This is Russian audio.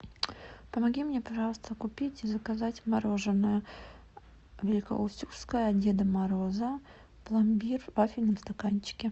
помоги мне пожалуйста купить и заказать мороженое великоустюгское от деда мороза пломбир в вафельном стаканчике